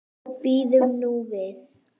Bíðum nú við.